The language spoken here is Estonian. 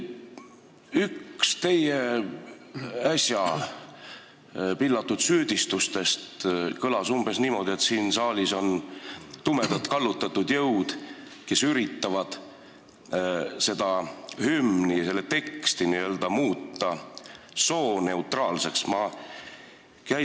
Üks teie äsja pillatud süüdistustest kõlas umbes niimoodi, et siin saalis on tumedad kallutatud jõud, kes üritavad hümni teksti n-ö sooneutraalseks muuta.